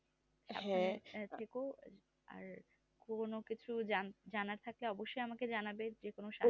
আর পুরোনো কিছু জানার থাকলে অবশ্যই আমাকে জানাবে যেকোনো সময়